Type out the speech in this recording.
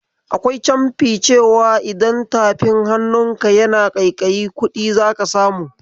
Akwai canfi cewa idan tafin hannunka yana ƙaiƙayi kudi zaka samu.